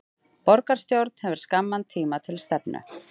Borgarstjórn hefur skamman tíma til stefnu